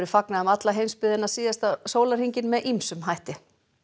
fagnað um alla heimsbyggðina síðasta sólarhringinn með ýmsum hætti